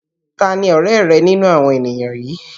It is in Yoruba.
Tani ọ̀rẹ́ rẹ nínú àwọn ènìyàn yìí?